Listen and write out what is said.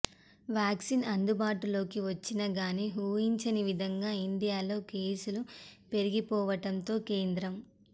vaccine అందుబాటులోకి వచ్చినా గానీ ఊహించని విధంగా ఇండియాలో కేసులు పెరిగిపోవటంతో కేంద్రం